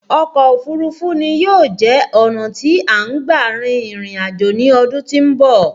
Ọkọ̀ òfurufú ni yóò jẹ́ ọ̀nà tí à ń gba rin ìrìn àjò ní ọdún tí ń bọ̀